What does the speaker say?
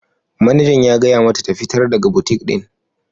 Manejan ya gaya mata ta fitar daga butik din!